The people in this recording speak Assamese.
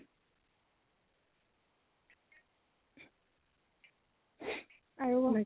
আৰু ক।